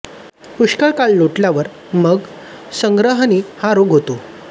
पुष्कळ काळ लोटल्यावर मग संग्रहणी हा रोग होतो